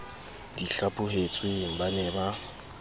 di hlaphohetsweng ba ne ba